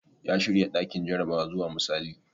Ya shirya ɗakin jarabawar zuwa misali.